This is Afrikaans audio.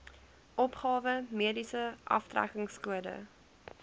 opgawe mediese aftrekkingskode